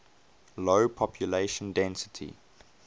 low population density